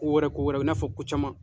Ko wɛrɛ, ko wɛrɛw, i n'a fɔ ko caman